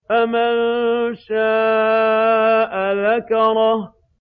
فَمَن شَاءَ ذَكَرَهُ